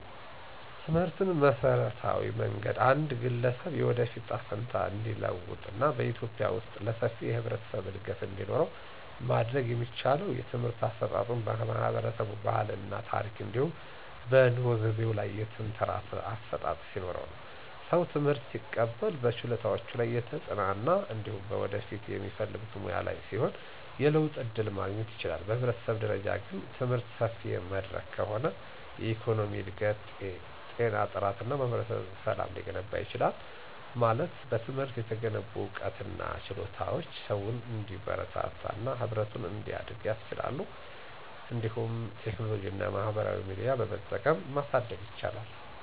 ትምህርትን በመሠረታዊ መንገድ አንድ ግለሰብ የወደፊት እጣ ፈንታ እንዲለወጥ እና በኢትዮጵያ ውስጥ ለሰፊው የህብረተሰብ እድገት እንዲኖረው ማድረግ የሚቻለው የትምህርት አሰጣጡ በህብረተሰቡ ባህል እና ታረክ እንዲሁም በኑሮ ዘይቤው ላይ የተንተራሰ አሠጣጥ ሲኖርነው። ሰው ትምህርት ሲቀበል በችሎታዎቹ ላይ የተጽናና እንዲሁም በወደፊት በሚፈልጉት ሙያ ላይ ሲሆን የለውጥ ዕድል ማግኘት ይችላል። በህብረተሰብ ደረጃ ግን፣ ትምህርት ሰፊ መድረክ ከሆነ የኢኮኖሚ እድገት፣ ጤና ጥራት እና ማህበረሰብ ሰላም ሊገነባ ይችላል። ማለት በትምህርት የተገነቡ ዕውቀትና ችሎታዎች ሰውን እንዲበረታና ህብረቱን እንዲያድጉ ያስችላሉ። እንዲሁም ቴክኖሎጂና ማህበራዊ ሚዲያ በመጠቀም ማሳደግ ይቻላል።